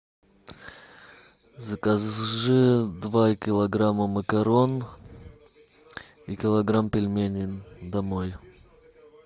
закажи два килограмма макарон и килограмм пельменей домой